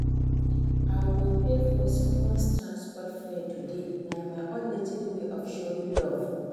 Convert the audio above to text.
I go pay for someone's transport fare today, na my own little way of showing love.